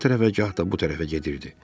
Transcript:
Gah o tərəfə, gah da bu tərəfə gedirdi.